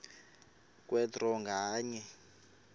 kwe draw nganye